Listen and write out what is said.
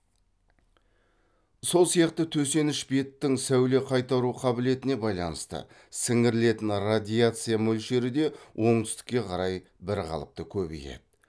сол сияқты төсеніш беттің сәуле қайтару қабілетіне байланысты сіңірілетін радиация мөлшері де оңтүстікке қарай бірқалыпты көбейеді